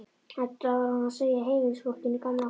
Þetta var hún að segja heimilisfólkinu í Gamla húsinu.